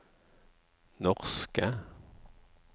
norske